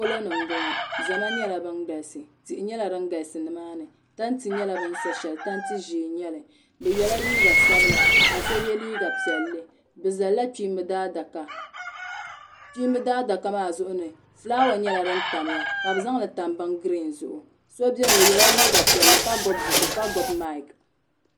Polo ni m bɔŋɔ zama nyɛla bin galisi tihi nyɛla din galisi nimaani tanti nyɛla bɛ ni sa shɛli tanti ʒɛɛ n nyɛli bɛ yɛla liiga ssbila ka so yɛ liiga piɛlli bɛ zalila kpiimbi daadaka kpiimbi daadaka maa zuɣu ni filaawa nyɛla din tamya ka bɛ zaŋli tam bin giriin zuɣu.